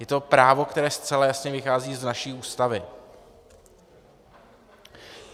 Je to právo, které zcela jasně vychází z naší Ústavy.